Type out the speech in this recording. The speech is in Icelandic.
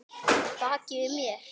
Baki við mér?